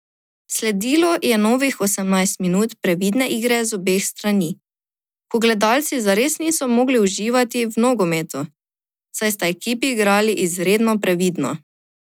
Sledilo je novih osemnajst minut previdne igre z obeh strani, ko gledalci zares niso mogli uživati v nogometu, saj sta ekipi igrali izredno previdno.